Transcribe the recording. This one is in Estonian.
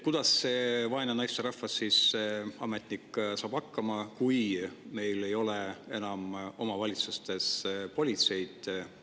Kuidas see vaene naisterahvas, see ametnik saab hakkama, kui omavalitsustes enam politseid ei ole?